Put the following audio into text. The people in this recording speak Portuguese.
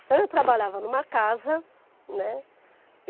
Então, eu trabalhava numa casa, né?